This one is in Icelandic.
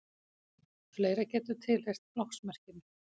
fleira getur tilheyrt flokksmerkinu